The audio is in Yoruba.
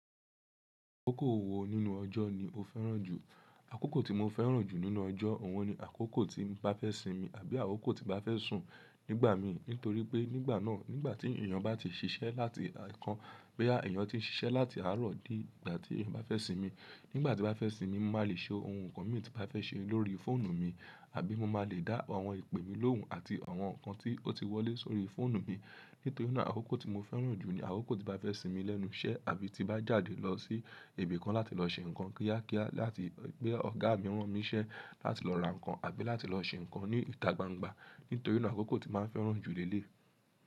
Àkókò wo nínú ọjọ́ ni o fẹ́ràn jù? Àkókò tí mo fẹ́ràn jù nínú ọjọ́, òhun ni àkókò tí bà fẹ́ simi àbí àkókò tí n bà fẹ́ sùn nígbà mi. Nítorí pé nígbà náà, nígbà tí èyàn bá ti ṣiṣẹ́ láti àìkán, bá èyàn tí n ṣiṣẹ́ láti àárọ̀ dé ìgbà tí bà fẹ́ simi, nígbà tí bà fẹ́ simi mo má lè ṣe ohun kan mi tí bà fẹ́ ṣe lórí fóònù mi. Àbí mo má lè dá àwọn ìpè mi lóhùn àti àwọn nǹkan tí ó ti wọlé sórí fóònù mi. Nítorí náà àkókò tí mo fẹ́ràn jù ni àkókò tí bà fẹ́ sinmi lẹ́nu iṣẹ́ àbí tí bà jáde lọ sí ibi kan láti lọ ṣe nǹkan kíákíá láti pé ọ̀gá mi rán mi iṣẹ́ láti lọ ra nǹkan àbí láti lọ ṣe nǹkan ní ìta gbangba. Nítorí náà àkókò tí má ń fẹ́ràn jù lé lé e.